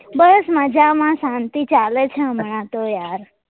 બસ મજામાં શાંતિ ચાલે છે યાર